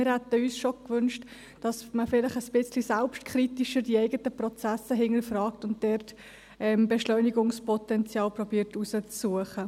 Wir hätten uns gewünscht, dass man die eigenen Prozesse ein bisschen selbstkritischer hinterfragt und dort versucht, Beschleunigungspotenzial herauszusuchen.